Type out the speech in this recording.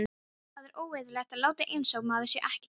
Það er óeðlilegt að láta einsog maður sé ekki til.